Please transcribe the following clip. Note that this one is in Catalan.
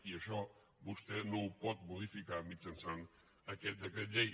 i això vostè no ho pot modificar mitjançant aquest decret llei